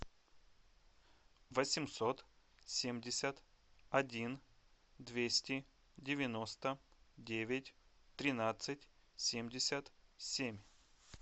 восемьсот семьдесят один двести девяносто девять тринадцать семьдесят семь